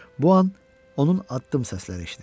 Bu an onun addım səsləri eşidildi.